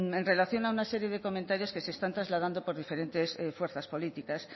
en relación a una serie de comentarios que se están trasladando por diferentes fuerzas políticas